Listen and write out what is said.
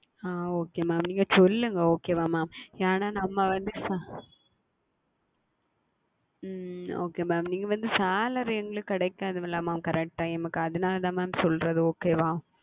ஆஹ் Okay Mam நீங்கள் சொல்லுங்கள் Okay ஆ Mam ஏனால் நாம் வந்து உம் Okay Mam நீங்கள் வந்து Salary எங்களுக்கு கிடைக்காது அல்லவா Mam correct Time க்கு அதுனால் தான் Mam சொல்லுகிறேன் Okay ஆ